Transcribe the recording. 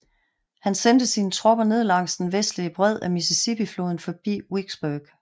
Han sendte sine tropper ned langs den vestlige bred af Mississippifloden forbi Vicksburg